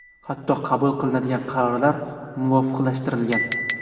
Hatto qabul qilinadigan qarorlar muvofiqlashtirilgan.